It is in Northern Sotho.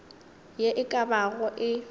ye e ka bago e